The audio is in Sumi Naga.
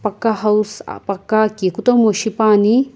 paka house paka ki kutomu shipuani.